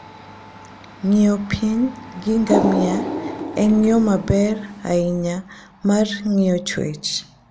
Ng'iyo piny gi ngamia en yo maber ahinya mar ng'iyo chwech.